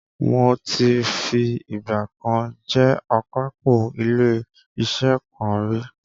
mo ti fi ìgbà kan jé akápò ilé iṣẹ kan rí.